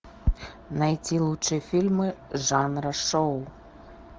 найти лучшие фильмы жанра шоу